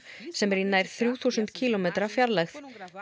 sem er í nær þrjú þúsund kílómetra fjarlægð